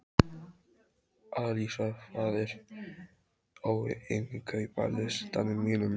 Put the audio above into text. Alísa, hvað er á innkaupalistanum mínum?